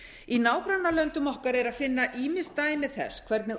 í nágrannalöndum okkar er að finna ýmis dæmi þess hvernig